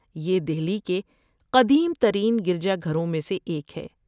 یہ دہلی کے قدیم ترین گرجا گھروں میں سے ایک ہے۔